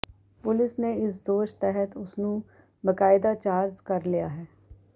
police ਨੇ ਇਸ ਦੋਸ਼ ਤਹਿਤ ਉਸ ਨੂੰ ਬਕਾਇਦਾ ਚਾਰਜ਼ ਕਰ ਲਿਆ ਹੈ